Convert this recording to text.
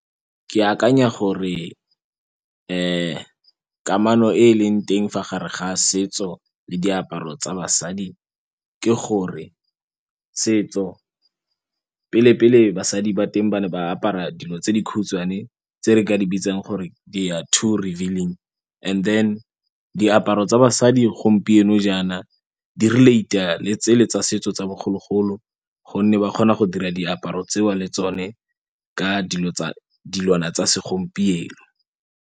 Ke akanya gore kamano e e leng teng fa gare ga setso le diaparo tsa basadi ke gore setso pele pele basadi ba teng ba ne ba apara dilo tse di khutshwane tse re ka di bitsang gore they are too revealing and then diaparo tsa basadi gompieno jang di relate-a le tsele tsa setso tsa bogologolo gonne ba kgona go dira diaparo tseo le tsone ka dilwana tsa segompieno.